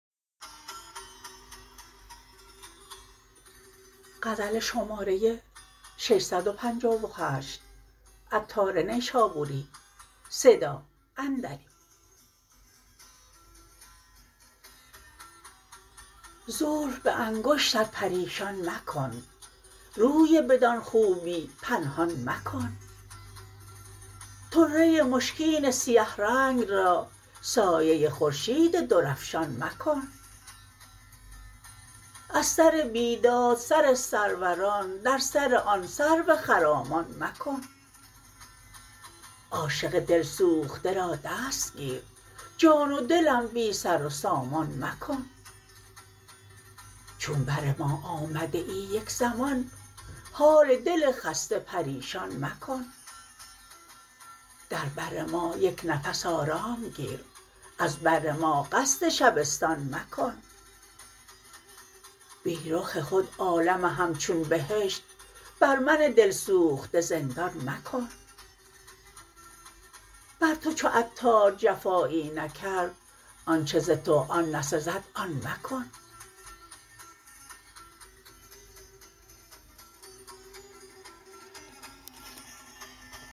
زلف به انگشت پریشان مکن روی بدان خوبی پنهان مکن طره مشکین سیه رنگ را سایه خورشید درافشان مکن از سر بیداد سر سروران در سر آن سرو خرامان مکن عاشق دل سوخته را دست گیر جان و دلم بی سر و سامان مکن چون بر ما آمده ای یک زمان حال دل خسته پریشان مکن در بر ما یک نفس آرام گیر از بر ما قصد شبستان مکن بی رخ خود عالم همچون بهشت بر من دل سوخته زندان مکن بر تو چو عطار جفایی نکرد آنچه ز تو آن نسزد آن مکن